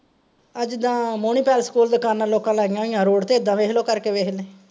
ਆਹ ਜਿੱਦਾਂ ਮੋਹਣੀ ਪੈਲੇਸ ਕੋਲ ਦੁਕਾਨਾਂ ਲੋਕਾਂ ਲਾਈਆਂ ਹੋਈਆਂ ਰੋਡ ਤੇ ਇੱਦਾਂ ਵੇਖਲੋ ਕਰ ਕੇ ਵੇਖਨੇ।